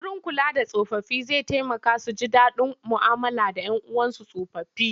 Wurin kula da tsofaffi zai taimaka su ji daɗin mu'amala da 'yan uwansu tsofaffi.